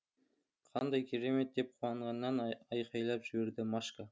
қандай керемет деп қуанғаннан айқайлап жіберді машка